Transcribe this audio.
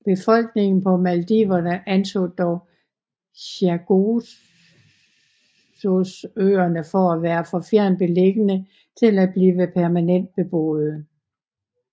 Befolkningen på Maldiverne anså dog Chagosøerne for at være for fjernt beliggende til at blive permanent beboede